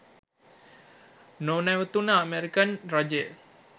නොනැවතුණු American රජය